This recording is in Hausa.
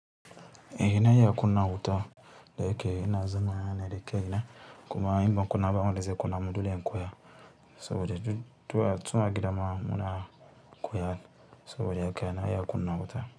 E na iya kunna wuta dayake inazama ne da kaina kuma inban kunna ba wanda ze kunna mun dole in koya saboda tu tun a gidama muna koya. Saboda haka na iya kunna wuta.